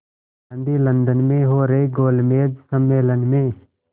Gandhi London में हो रहे गोलमेज़ सम्मेलन में